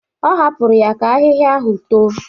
Ọ hapụrụ ya ka ahịhịa ahụ too.